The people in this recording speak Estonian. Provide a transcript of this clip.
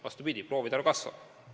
Vastupidi, proovide arv kasvab.